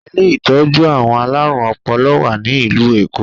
Ilé ìtọ́jú àwọn alárùn ọpọlọ wá ní ìlú Èkó